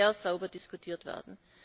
Das muss sehr sauber diskutiert werden.